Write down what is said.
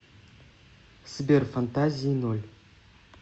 сбер фантазии ноль